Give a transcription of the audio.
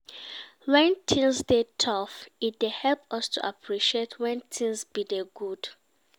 When things dey tough e dey help us to appreciate when things been dey good